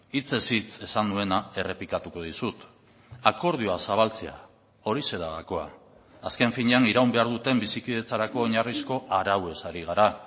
hitzez hitz esan nuena errepikatuko dizut akordioa zabaltzea horixe da gakoa azken finean iraun behar duten bizikidetzarako oinarrizko arauez ari gara